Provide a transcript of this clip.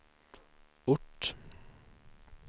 ort